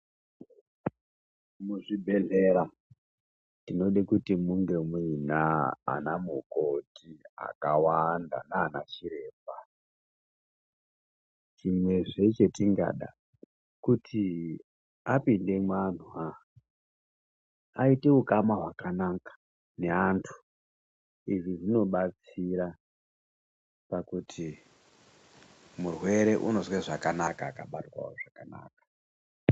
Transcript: Muzvibhedhlera tinodale kuti munge muina anamukoti akawanda nanachiremba, chimwezve chetingada kuti apinde muantu aite ukama hwakanaka neantu izvi zvinobatsira pakuti murwere unozwe zvakanaka akabatwawo zvakanaka.